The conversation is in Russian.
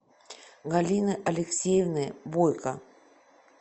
галины алексеевны бойко